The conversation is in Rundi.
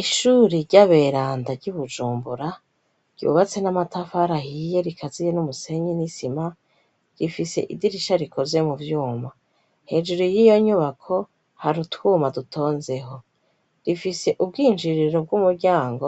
Ishuri ry'aberanda ry'ubujumbura ryubatse n'amatafara ahiye rikaziye n'umusenyi n'isima ifise idirisha rikoze mu vyuma hejuru y'iyo nyubako hari utwuma dutonzeho rifise ubwinjiriro bw'umuryango